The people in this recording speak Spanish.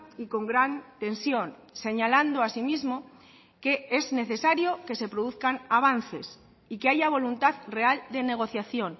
y con gran tensión señalando asimismo que es necesario que se produzcan avances y que haya voluntad real de negociación